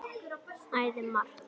Æði margt.